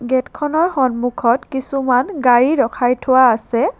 গেটখনৰ সন্মুখত কিছুমান গাড়ী ৰখাই থোৱা আছে।